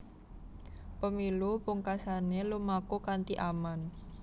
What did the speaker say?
Pemilu pungkasané lumaku kanthi aman